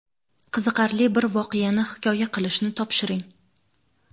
qiziqarli bir voqeani hikoya qilishni topshiring.